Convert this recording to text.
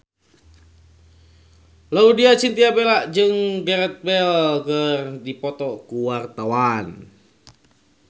Laudya Chintya Bella jeung Gareth Bale keur dipoto ku wartawan